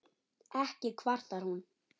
Ekki kvartar hún